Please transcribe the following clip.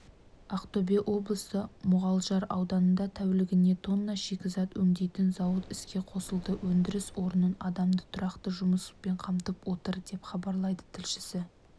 ақтөбе облысы мұғалжар ауданында тәулігіне тонна шикізат өңдейтін зауыт іске қосылды өндіріс орны адамды тұрақты жұмыспен қамтып отыр деп хабарлайды тілшісі